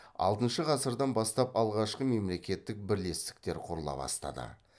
алтыншы ғасырдан бастап алғашқы мемлекеттік бірлестіктер құрыла бастады